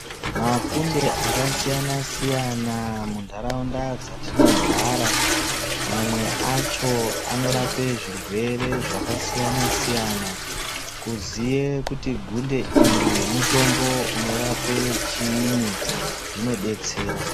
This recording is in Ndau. Makunde akasiyana siyana muntaraunda dzatinogara mamwe acho anorape zvirwere zvakasiyana siyana. Kuziye kuti gunde iri mutombo unorape chini zvinodetsera.